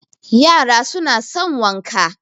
yara suna son wanka